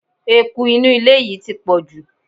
Eku inú ilé yìí ti pọ̀jù.